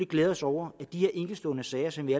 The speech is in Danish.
glæde os over at de her enkeltstående sager som vi